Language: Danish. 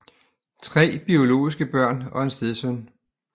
Tre biologiske børn og en stedsøn